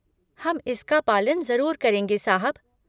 हम इसका पालन ज़रूर करेंगे साहब।